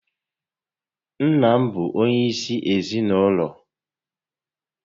Nna bụ onyé isi ezinụlọ